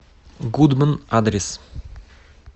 гудман адрес